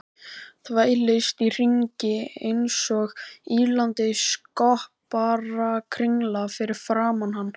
Þvælist í hringi einsog ýlandi skopparakringla fyrir framan hann.